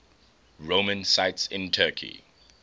roman sites in turkey